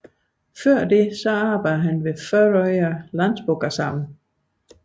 Før det arbejdede han ved Føroya Landsbókasavn